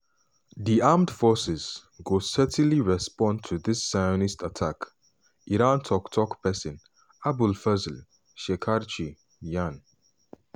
"di armed forces go certainly respond to dis zionist attack" iranian tok-tok pesin abolfazl shekarchi yarn.